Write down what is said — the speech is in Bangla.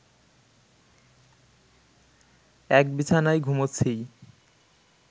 এক বিছানায় ঘুমুচ্ছিই